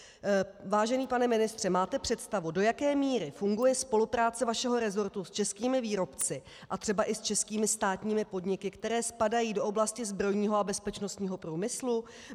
Vážený pane ministře, máte představu, do jaké míry funguje spolupráce vašeho rezortu s českými výrobci a třeba i s českými státními podniky, které spadají do oblasti zbrojního a bezpečnostního průmyslu?